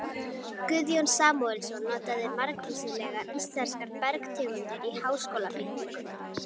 Guðjón Samúelsson notaði margvíslegar íslenskar bergtegundir í háskólabyggingunni.